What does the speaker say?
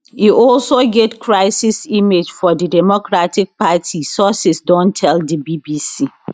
e also get crisis image for di democratic party sources don tell di bbc